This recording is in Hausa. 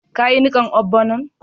Ka yi nikan ogbono'n?